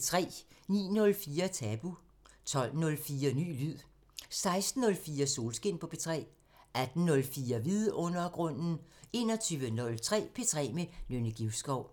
09:04: Tabu 12:04: Ny lyd 16:04: Solskin på P3 18:04: Vidundergrunden 21:03: P3 med Nynne Givskov